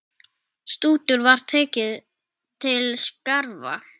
Stútur var tekið til starfa!